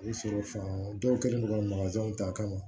O ye sɔrɔ fan dɔw kɛlen don ka ta kama